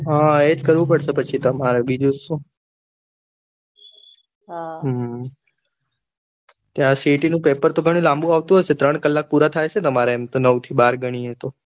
હ એજ કરવું પડશે પછી તમારે બીજું ત શું હા ત્યાં સીટી નું પેપર તો લાબું આવતું હશે ને ત્રણ કલાક પુરા થઇ છે નવ થી બાર ગણીએ તો